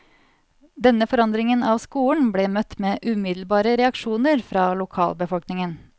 Denne forandringen av skolen ble møtt med umiddelbare reaksjoner fra lokalbefolkningen.